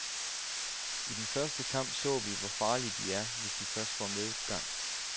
I den første kamp så vi, hvor farlige de er, hvis de først får medgang.